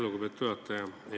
Lugupeetud juhataja!